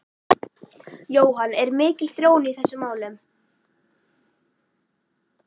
Jóhann, er mikil þróun í þessum málum?